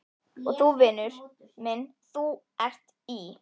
Og þú, vinur minn, ÞÚ ERT Í